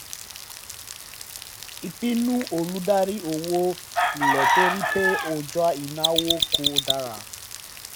ìpinnu olùdarí owó le torí pé ọjà ìnáwó kò dára